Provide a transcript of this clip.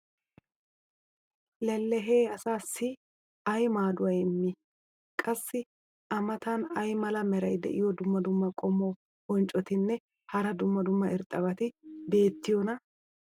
lellehee asaassi ay maaduwa immii? qassi a matan ay mala meray diyo dumma dumma qommo bonccotinne hara dumma dumma irxxabati beetiyoonaa?